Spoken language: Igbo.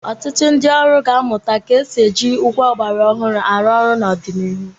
Ọtụtụ ndị ọrụ ga-amụta ga-esi ji ngwá ọgbara ọhụrụ arụ ọrụ n'ọdịnihu.